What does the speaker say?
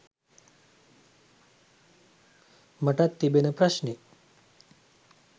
මටත් තිබෙන ප්‍රශ්නේ.